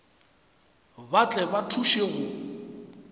ba tle ba thuše go